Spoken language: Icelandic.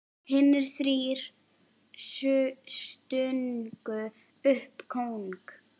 Hinir þrír stungu upp kóng.